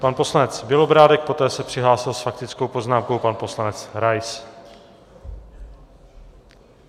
Pan poslanec Bělobrádek, poté se přihlásil s faktickou poznámkou pan poslanec Rais.